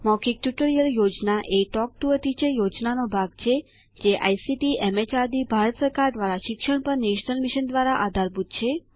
મૌખિક ટ્યુટોરિયલ યોજના talk to a teacher યોજનાનો ભાગ છેજે આઇસીટીએમએચઆરડીભારત સરકાર દ્વારા શિક્ષણ પર નેશનલ મિશન દ્વારા આધારભૂત છે